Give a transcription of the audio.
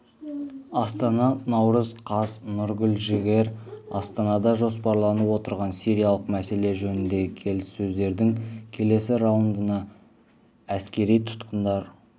астана наурыз қаз нұргүл жігер астанада жоспарланып отырған сириялық мәселе жөніндегі келіссөздердің келесі раундында әскери тұтқындар